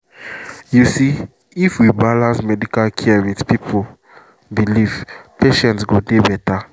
you see if we balance medical care with people belief patient go dey better